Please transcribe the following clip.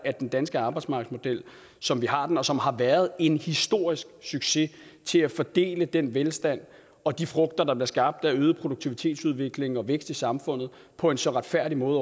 at den danske arbejdsmarkedsmodel som vi har den og som har været en historisk succes til at fordele den velstand og de frugter der blev skabt af øget produktivitetsudvikling og vækst i samfundet på en så retfærdig måde